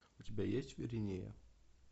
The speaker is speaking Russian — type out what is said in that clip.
у тебя есть виринея